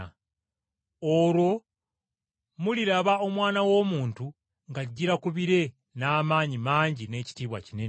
“Olwo muliraba Omwana w’Omuntu ng’ajjira ku bire n’amaanyi mangi n’ekitiibwa kinene,